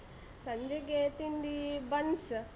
ಸಂಜೆಗೆ ತಿಂಡಿ ಬನ್ಸ್.